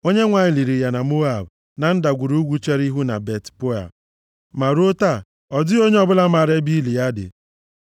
Onyenwe anyị liri ya na Moab, na ndagwurugwu chere ihu na Bet-Peoa, ma ruo taa, ọ dịghị onye ọbụla maara ebe ili ya dị.